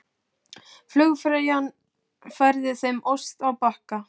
Flugfreyjan færði þeim ost á bakka.